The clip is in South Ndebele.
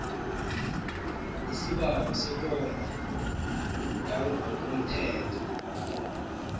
isibawo sekomba yangokomthetho